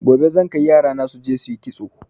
Gobe zan kai yarana suje suyi kitso